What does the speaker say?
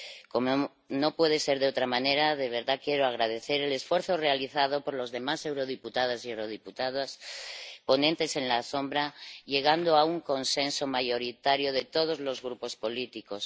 Como no puede ser de otra manera, de verdad quiero agradecer el esfuerzo realizado por los demás eurodiputados y eurodiputadas, ponentes alternativos, llegando a un consenso mayoritario de todos los grupos políticos.